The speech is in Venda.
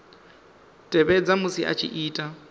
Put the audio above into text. tevhedza musi a tshi ita